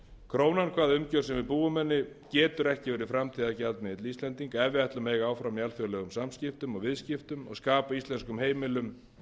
krónan hvaða umgjörð sem við búum henni getur ekki verið framtíðargjaldmiðill íslendinga ef við ætlum að eiga áfram í alþjóðlegum samskiptum og viðskiptum og skapa íslenskum heimilum